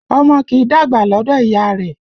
Ọmọ kì í dàgbà lọdọ ìyá rẹ